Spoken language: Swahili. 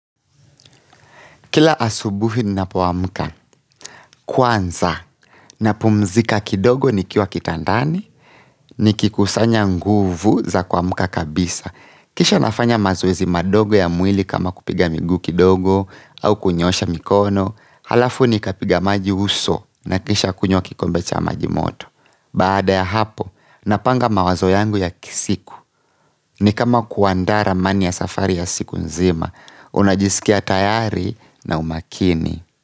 Kila asubuhi ninapoamka, kwanza na pumzika kidogo ni kiwa kitandani, nikikusanya nguvu za kuamka kabisa kisha nafanya mazoezi madogo ya mwili kama kupiga miguu kidogo au kunyoosha mikono halafu ni kapiga maji uso na kisha kunywa kikombe cha maji moto baada ya hapo, napanga mawazo yangu ya kisiku ni kama kuandaa ramani ya safari ya siku nzima, unajisikia tayari na umakini.